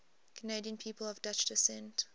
canadian people of dutch descent